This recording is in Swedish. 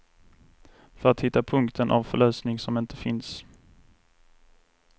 För att hitta punkten av förlösning som inte finns.